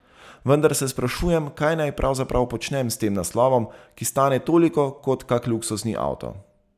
Vendar se sprašujem, kaj naj pravzaprav počnem s tem naslovom, ki stane toliko kot kak luksuzni avto.